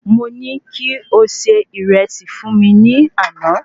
Mo ní kí o se Ìrẹsì fún mi ní àná